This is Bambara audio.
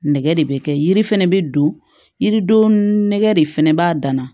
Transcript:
Nɛgɛ de bɛ kɛ yiri fɛnɛ bɛ don yiri don nɛgɛ de fana b'a dan na